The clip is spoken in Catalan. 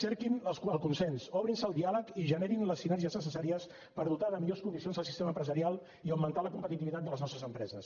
cerquin el consens obrin se al diàleg i generin les sinergies necessàries per dotar de millors condicions el sistema empresarial i augmentar la competitivitat de les nostres empreses